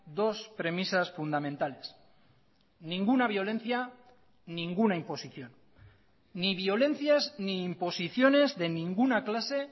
dos premisas fundamentales ninguna violencia ninguna imposición ni violencias ni imposiciones de ninguna clase